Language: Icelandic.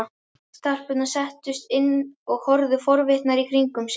Stelpurnar settust inn og horfðu forvitnar í kringum sig.